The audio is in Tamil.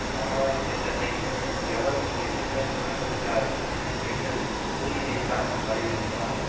சமாதான திட்டத்தை எவரும் எதிர்க்க அனுமதிக்காது என்று கூறியதைத்தான் வலியுறுத்தினார்